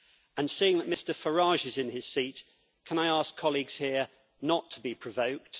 And seeing that Mr Farage is in his seat, can I ask colleagues here not to be provoked.